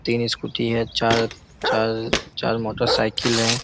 तीन स्कूटी हैं चार-चार-चार मोटर साइकिल हैं।